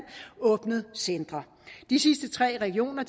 åbnet centre de sidste tre regioner